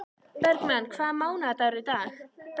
Bergmann, hvaða mánaðardagur er í dag?